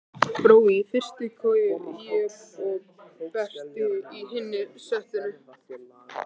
Brói í fyrstu koju, ég og Berti í hinu settinu.